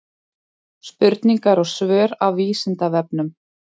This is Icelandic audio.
Spurningar og svör af Vísindavefnum.